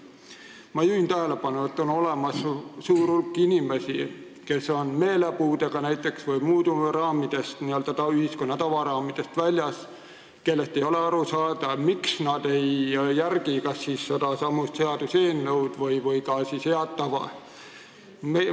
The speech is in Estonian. Ma juhin tähelepanu, et on olemas suur hulk inimesi, kes on näiteks meelepuudega või muudmoodi n-ö ühiskonna tavaraamidest väljas ja kellest ei ole aru saada, miks nad ei järgi kas sedasama seaduseelnõu või head tava.